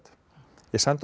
ég sendi honum